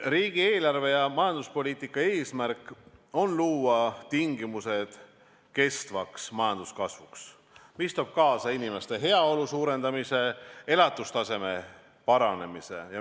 Riigieelarve ja majanduspoliitika eesmärk on luua tingimused kestvaks majanduskasvuks, mis toob kaasa inimeste heaolu suurenemise, elatustaseme paranemise.